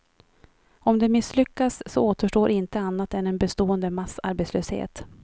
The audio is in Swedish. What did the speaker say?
Om det misslyckas så återstår inte annat än en bestående massarbetslöshet.